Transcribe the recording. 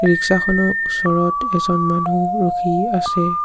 Rickshaw খনৰ ওচৰত এজন মানুহ ৰখি আছে।